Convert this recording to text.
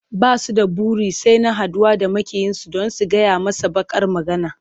Ba su da buri sai na haɗuwa da maƙiyinsu don su gyaya masa baƙar magana.